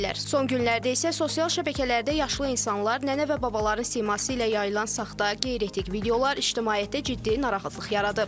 Son günlərdə isə sosial şəbəkələrdə yaşlı insanlar, nənə və babaların siması ilə yayılan saxta, qeyri-etik videolar ictimaiyyətdə ciddi narahatlıq yaradıb.